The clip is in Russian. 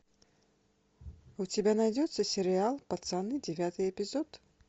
у тебя найдется сериал пацаны девятый эпизод